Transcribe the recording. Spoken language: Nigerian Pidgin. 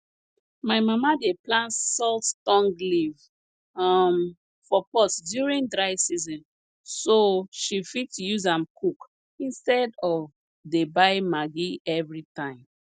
my mama dey plant salt tongue leaf um for pot during dry season so she fit use am cook instead of dey buy maggi every time